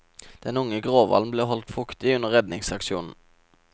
Den unge gråhvalen ble holdt fuktig under redningsaksjonen.